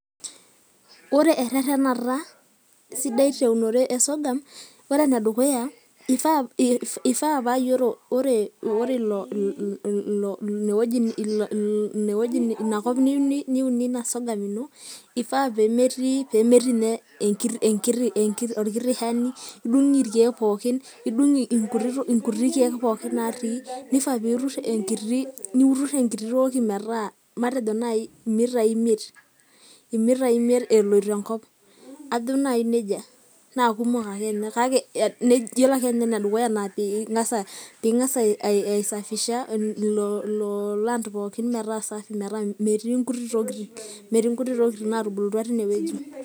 ore ererenata sidai teunore e sorghum, ore ene dukuya, ifaa ore ina kop nyieu niunie ina sorghum ino ifaa pee metii niyye orkiti shani, idung' irkeek pookin, idung'inkuti keek pookin naatii, nifaa pee itur enkiti, niun enkiti toki metaa matejo naaji imitai imiet, imitai imiet eloito enkop, ajo naaji nejia, kake ore ake ninye ane dukuya naa pee ing'as aisafisha o land pookin.